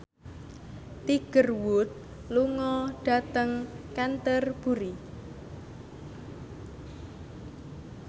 Tiger Wood lunga dhateng Canterbury